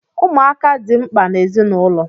Ụmụaka di mkpa n’ezinụlọ